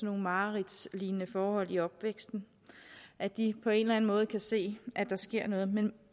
nogle mareridtslignende forhold i opvæksten at de på en eller anden måde kan se at der sker noget men